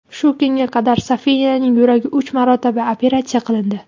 Shu kunga qadar Sofiyaning yuragi uch marotaba operatsiya qilindi.